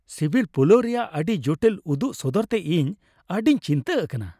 ᱥᱤᱵᱤᱞ ᱯᱩᱞᱟᱣ ᱨᱮᱭᱟᱜ ᱟᱹᱰᱤ ᱡᱚᱴᱤᱞ ᱩᱫᱩᱜ ᱥᱚᱫᱚᱨᱛᱮ ᱤᱧ ᱟᱹᱰᱤᱧ ᱪᱤᱱᱛᱟᱹ ᱟᱠᱟᱱᱟ ᱾